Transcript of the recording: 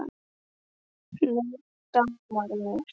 Nú dámar mér!